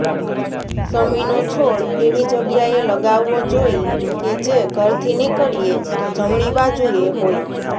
શમીનો છોડ એવી જગ્યાએ લગાવવો જોઈ કે જે ઘરથી નીકળીએ તો જમણી બાજુએ હોય